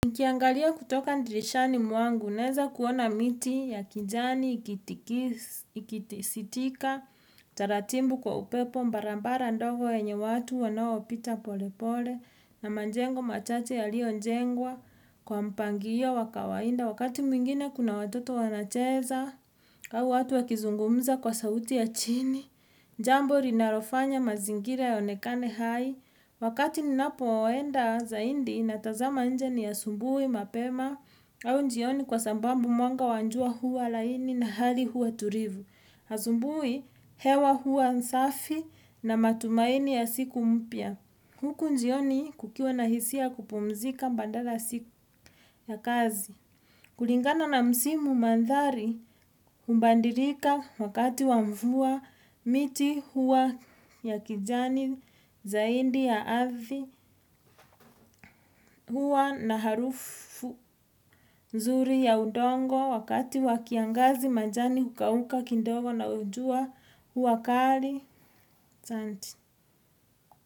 Nikiangalia kutoka dirishani mwangu, naeza kuona miti ya kijani ikitisitika, taratibu kwa upepo barabara ndogo yenye watu wanaopita pole pole, na manjengo machate yaliyo njengwa, kwa mpangilio wakawainda wakati mwingine kuna watoto wanacheza. Au watu wakizungumza kwa sauti ya chini, jambo linalofanya mazingira yaonekane hai, Wakati ninapo enda zaidi natazama nje ni asubuhi mapema au jioni kwa sababu mwanga wa jua huwa laini na hali huwa tulivu. Asubuhi hewa hua safi na matumaini ya siku mpya. Huku jioni kukiwa na hisia ya kupumzika bandala siku ya kazi. Kulingana na msimu mandhari hubandilika wakati wamvua miti huwa ya kijani zaidi ya ardhi huwa na harufu nzuri ya udongo wakati wa kiangazi majani hukauka kindogo na jua huwa kali.